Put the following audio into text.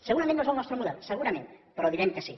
segurament no és el nostre model segurament però direm que sí